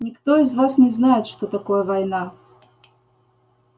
никто из вас не знает что такое война